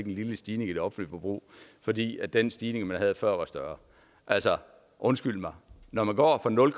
en lille stigning i det offentlige forbrug fordi den stigning man havde før var større undskyld mig når man går fra nul